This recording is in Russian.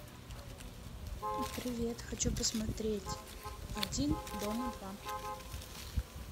привет хочу посмотреть один дома два